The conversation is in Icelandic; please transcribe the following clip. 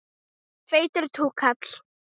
Feitur túkall.